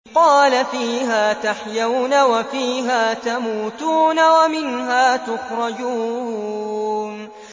قَالَ فِيهَا تَحْيَوْنَ وَفِيهَا تَمُوتُونَ وَمِنْهَا تُخْرَجُونَ